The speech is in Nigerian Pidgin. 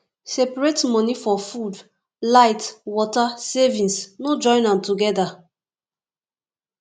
separate money for food light water savings no join am together